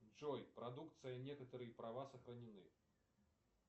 джой продукция некоторые права сохранены